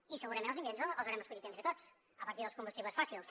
i segurament els ingredients els haurem escollit entre tots a partir dels combustibles fòssils